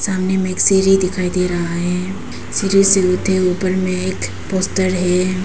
सामने में एक सीढ़ी दिखाई दे रहा है सीढ़ी से होते ऊपर में एक पोस्टर है।